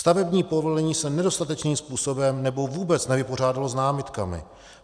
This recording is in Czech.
Stavební povolení se nedostatečným způsobem nebo vůbec nevypořádalo s námitkami.